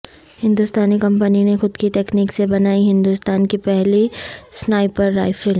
ہندوستانی کمپنی نے خود کی تکنیک سے بنائی ہندوستان کی پہلی سنائپر رائفل